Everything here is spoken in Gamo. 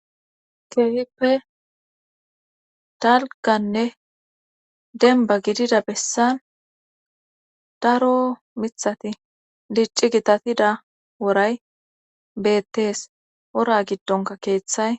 keehippe dalganne denba gidida bessan daro mithati dicci gitatida woray beettees ora giddonka keeththay